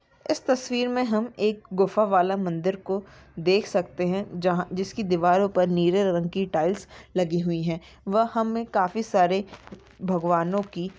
ईस तस्वीर मे हम एक गुफा वाला मंदिर को देख सकते है। जहाँ जिसकी दीवारों पर नीले रंग की टाईल्स लगी हुई है व हमे काफी सारे भगवनों की--